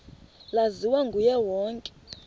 laziwa nguye wonke